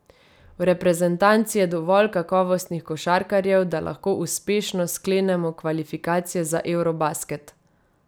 V reprezentanci je dovolj kakovostnih košarkarjev, da lahko uspešno sklenemo kvalifikacije za eurobasket.